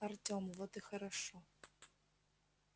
артем вот и хорошо